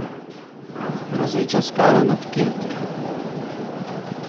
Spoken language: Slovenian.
Grozeča skala nad Keltiko.